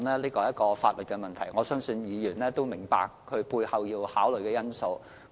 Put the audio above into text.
這是一項法律的問題，我相信議員亦明白背後要考慮的因素。